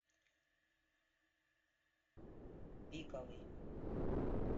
пиковый